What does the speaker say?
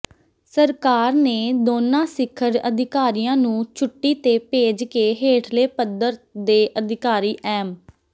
ਸਰਕਾਰ ਨੇ ਦੋਨਾਂ ਸਿਖਰ ਅਧਿਕਾਰੀਆਂ ਨੂੰ ਛੁੱਟੀ ਤੇ ਭੇਜ ਕੇ ਹੇਠਲੇ ਪੱਧਰ ਦੇ ਅਧਿਕਾਰੀ ਐਮ